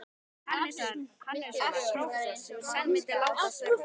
Hannessonar, prófessors, sem senn myndi láta af störfum.